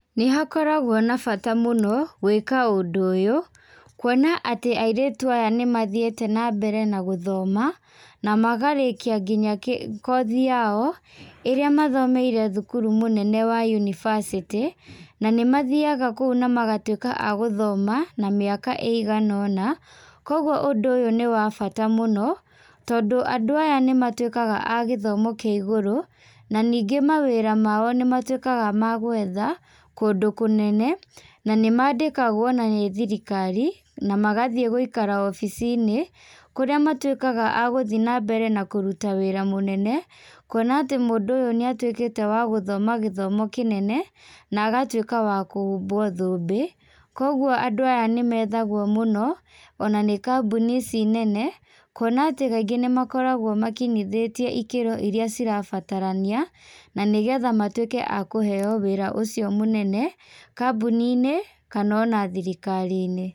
Nĩ hakoragwo na bata mũno gwĩka ũndũ ũyũ, kũona ato airĩtũ aya nĩ mathiete na mbere na gũthoma, na makarĩkia nginya kothi yao ĩrĩa mathomeire thũkũrũ mũnene wa university. Na nĩ mathiaga kũũ na magatũĩka agũthoma, mĩaka ĩigana ona. Kogwo ũndũ ũyũ nĩ wa bata mũno, tondũ andũ aya nĩ matũĩkaga agĩthomo kĩa igũrũ, na nĩnge mawĩra mao nĩ matũĩkaga magũetha kũndũ kũnene na nĩmandekwagwo na nĩ thirikari na magathĩe gũikara obici-inĩ kũrĩa matũĩkaga agũthie na mbere na kũrũta wĩra mũnene, kũona atĩ mũndũ ũyũ nĩ atuĩkĩte wa gũthoma gĩthomo kĩnene na agatũĩka wa kũhumbwo thũmbĩ. Kogwo andũ aya nĩ methagwo mũno, ona nĩ kambũni ici nene kũona atĩ kaingĩ nĩ makoragwo makĩnyithĩtio ikĩro iria cirabatarania, na nĩgetha matũĩke a kũheo wĩra ũcio mũnene, kambũni-inĩ ona thirikari-inĩ.